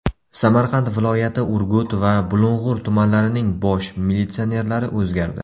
Samarqand viloyati Urgut va Bulung‘ur tumanlarining bosh militsionerlari o‘zgardi.